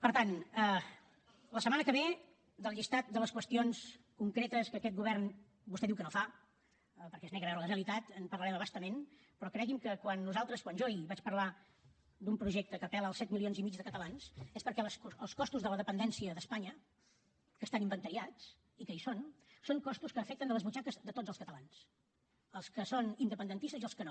per tant la setmana que ve del llistat de les qüestions concretes que aquest govern vostè diu que no fa perquè es nega a veure la realitat en parlarem a bastament però creguin que quan nosaltres quan jo ahir vaig parlar d’un projecte que apel·la als set milions i mig de catalans és perquè els costos de la dependència d’espanya que estan inventariats i que hi són són costos que afecten les butxaques de tots els catalans els que són independentistes i els que no